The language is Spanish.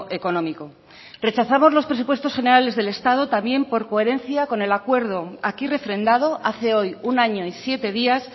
económico rechazamos los presupuestos generales del estado también por coherencia con el acuerdo aquí refrendado hace hoy un año y siete días